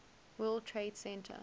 world trade center